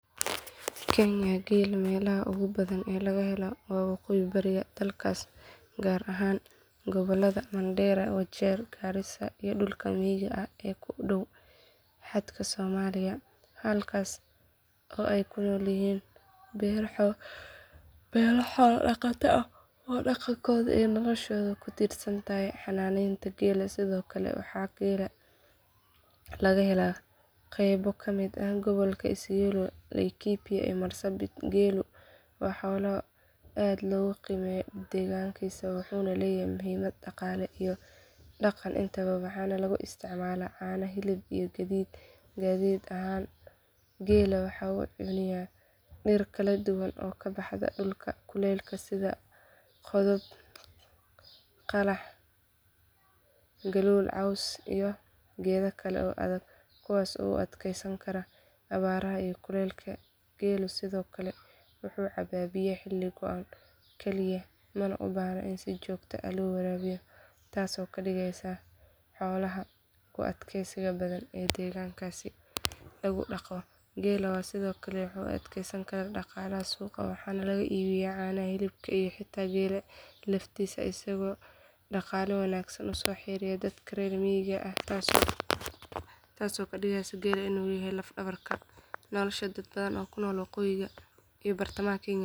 Kenya geela meelaha ugu badan ee laga helo waa waqooyi bari dalkaas gaar ahaan gobollada Mandheera Wajeer Garissa iyo dhulka miyiga ah ee ku dhow xadka Soomaaliya halkaasoo ay ku nool yihiin beelo xoola dhaqato ah oo dhaqankooda iyo noloshooda ku tiirsan tahay xanaaneynta geela sidoo kale waxaa geela laga helaa qaybo ka mid ah gobolka Isiolo Laikipia iyo Marsabit geelu waa xoolo aad loogu qiimeeyo deegaankaas wuxuuna leeyahay muhiimad dhaqaale iyo dhaqan intaba waxaana lagu isticmaalaa caano hilib iyo gaadiid ahaan geela waxa uu cuniyaa dhir kala duwan oo ka baxda dhulka kulaylaha sida qodhob qalax galool caws iyo geedo kale oo adag kuwaasoo u adkeysan kara abaaraha iyo kulaylka geelu sidoo kale wuxuu cabaa biyo xilli go’an kaliya mana u baahna in si joogto ah loo waraabiyo taasoo ka dhigaysa xoolaha ugu adkaysiga badan ee deegaankaas laga dhaqdo geela ayaa sidoo kale loo adeegsadaa dhaqaalaha suuqa waxaana laga iibiyaa caanaha hilibka iyo xitaa geela laftiisa isagoo dhaqaale wanaagsan u soo xareeya dadka reer miyiga ah taasoo ka dhigaysa geelu in uu yahay laf dhabarta nolosha dad badan oo ku nool waqooyiga iyo bartamaha Kenya.